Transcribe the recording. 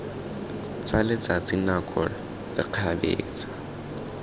tsa letsatsi nako le kgabetsa